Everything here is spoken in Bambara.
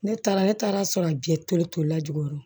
Ne taara ne taara sɔrɔ a tole tolila jukɔrɔ